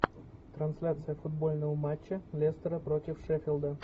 трансляция футбольного матча лестера против шеффилда